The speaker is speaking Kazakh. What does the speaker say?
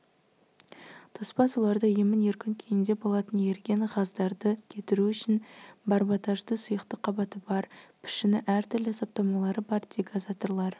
тоспа суларда емін-еркін күйінде болатын еріген ғаздарды кетіру үшін барботажды сұйықтық қабаты бар пішіні әртүрлі саптамалары бар дегазаторлар